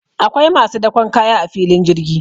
akwai masu dakon kaya a filin jirgi